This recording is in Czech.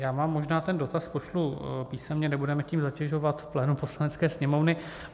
Já vám možná ten dotaz pošlu písemně, nebudeme tím zatěžovat plénum Poslanecké sněmovny.